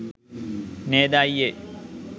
නේද අය්යේ